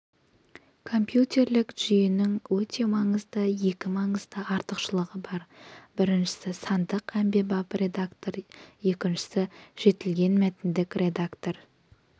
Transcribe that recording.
компьютерлік жүйенің өте маңызды екі маңызды артықшылығы бар біріншісі сандық әмбебап редактор екіншісі жетілген мәтіндік редактор